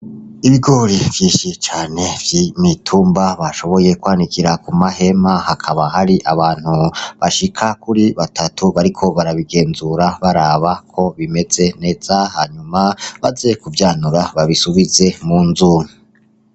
Ibigori vyinshi cane vy'imitumba bashoboye kwanikira ku mahema hakaba hari abantu bashika kuri batatu bariko barabigenzura baraba ko bimeze neza hanyuma , baze kuvyanura babisubize mu nzu.